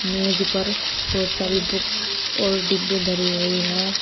मेज पर बहोत सारी बुक्स और डिब्बे धरी हुई हैं।